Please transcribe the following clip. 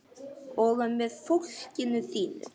Og með fólkinu þínu.